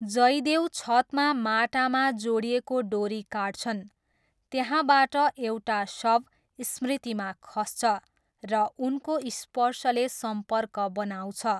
जयदेव छतमा माटामा जोडिएको डोरी काट्छन्, त्यहाँबाट एउटा शव स्मृतिमा खस्छ, र उनको स्पर्शले सम्पर्क बनाउँछ।